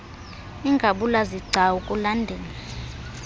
ingabula zigcawu kulandele